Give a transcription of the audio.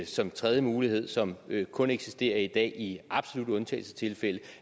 som en tredje mulighed som kun eksisterer i dag i absolutte undtagelsestilfælde